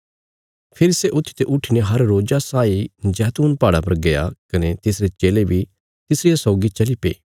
फेरी सै ऊत्थीते उट्ठीने हर रोज्जा साई जैतून पहाड़ा पर गया कने तिसरे चेले बी तिसरिया सौगी चलीपे